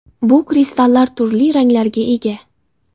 Bu kristallar turli ranglarga ega.